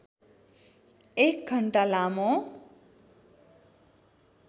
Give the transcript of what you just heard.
एक घण्टा लामो